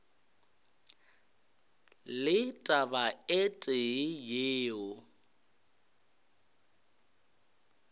le taba e tee yeo